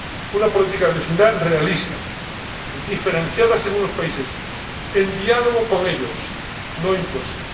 una política de vecindad realista, diferenciada según los países, en diálogo con ellos, no impuesta.